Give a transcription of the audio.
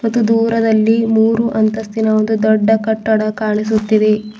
ಇದು ದೂರದಲ್ಲಿ ಮೂರು ಅಂತಸ್ತಿನ ದೊಡ್ಡ ಕಟ್ಟಡ ಕಾಣಿಸುತ್ತಿದೆ.